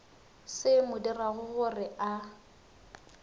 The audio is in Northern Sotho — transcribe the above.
se mo dirago gore a